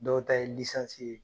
Dɔw ta ye ye